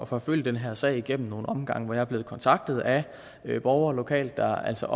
forfølge den her sag igennem nogle omgange hvor jeg er blevet kontaktet af borgere lokalt der altså